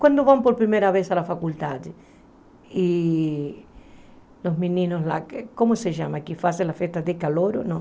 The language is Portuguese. Quando vão por primeira vez à faculdade, e os meninos lá, como se chama, que fazem a festa de calouro, não?